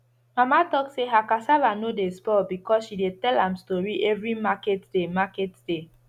mama talk say her cassava no dey spoil because she dey tell am story every market day market day